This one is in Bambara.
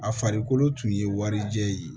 A farikolo tun ye warijɛ ye